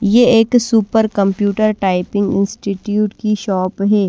ये एक super computer typing institute की शॉप है।